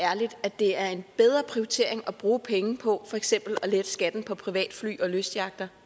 ærligt at det er en bedre prioritering at bruge penge på for eksempel at lette skatten på privatfly og lystyachter